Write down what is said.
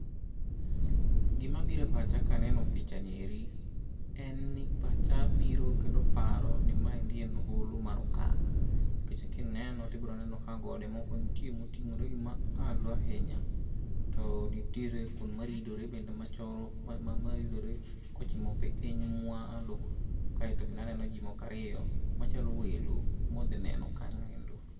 Gima biro e pacha ka aneno picha ni eri, en ni pacha biro kendo paro ni maendi en hono mar okak. Nikech kineno to ibiro neno ka gode moko nitie moting'ore gi malo ahinya. To nitiere kuonde maridore bende machoro maridore kochimo piny mwalo. Kaeto bende aneno ji moko ariyo machalo welo modhi neno kanyo endo.